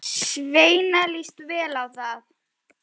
Svenna líst vel á það.